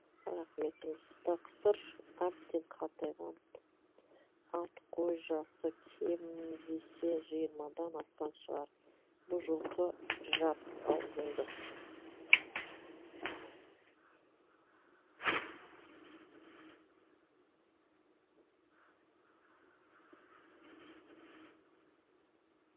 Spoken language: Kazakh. рақым етіңіз тақсыр әбден қартайған ат қой жасы кем десе жиырмадан асқан шығар бұ жылқы жап аузыңды